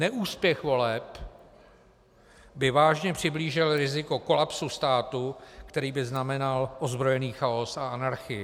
Neúspěch voleb by vážně přiblížil riziko kolapsu státu, který by znamenal ozbrojený chaos a anarchii.